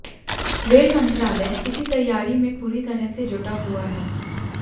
rail मंत्रालय इसी तैयारी में पूरी तरह से जुटा हुआ है